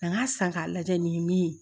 N k'a san k'a lajɛ nin ye min ye